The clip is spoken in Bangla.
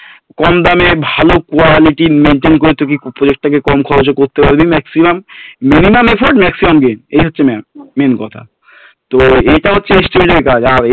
তুই কোথা থেকে কম দামে ভালো quality র maintain করে তুই project টাকে কম খরচে করতে পারবি maximum minimum effort maximum gain এই হচ্ছে main কথা তো এটা হচ্ছে estimate এর কাজ আর